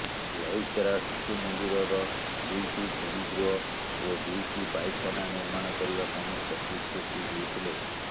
ଲଇକେରା ଶିଶୁମନ୍ଦିରର ଦୁଇଟି ଶ୍ରେଣୀଗୃହ ଓ ଦୁଇଟି ପାଇଖାନା ନିର୍ମାଣ କରିବା ପାଇଁ ପ୍ରତିଶ୍ରୁତି ଦେଇଥିଲେ